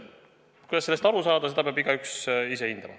" Kuidas sellest aru saada, seda peab igaüks ise hindama.